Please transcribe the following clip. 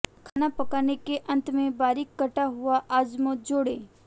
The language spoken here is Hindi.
खाना पकाने के अंत में बारीक कटा हुआ अजमोद जोड़ें